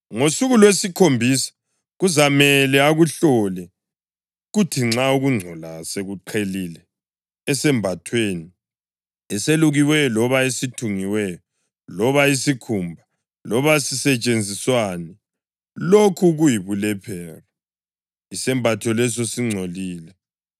Ngosuku lwesikhombisa kuzamele akuhlole, kuthi nxa ukungcola sekuqhelile esembathweni, eselukiweyo loba esithungiweyo, loba isikhumba, loba sisetshenziswani, lokho kuyibulephero, isembatho leso singcolile.